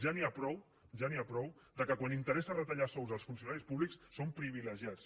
ja n’hi ha prou que quan interessa retallar sous als funcionaris públics són privilegiats